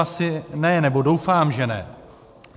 Asi ne, nebo doufám že ne.